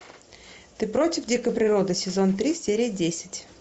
ты против дикой природы сезон три серия десять